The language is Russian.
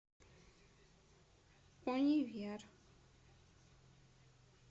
универ